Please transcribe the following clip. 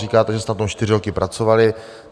Říkáte, že jste na tom čtyři roky pracovali.